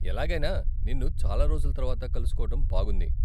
ఎలాగైనా, నిన్ను చాలా రోజుల తర్వాత కలుసుకోవటం బాగుంది.